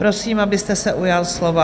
Prosím, abyste se ujal slova.